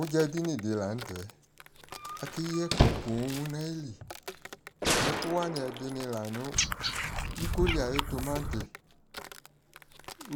ʋdza dini di lantɛ, akɛ yii ɛkʋ pɔɔm nʋ ayili ɛkʋ wani ɛdini lanʋ, ikɔɔ li ayʋ tʋmati,